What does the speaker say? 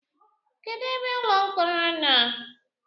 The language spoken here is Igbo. Kedụ ebe ụlọ mkpọrọ nọ?